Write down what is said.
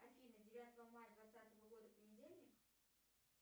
афина девятого мая двадцатого года понедельник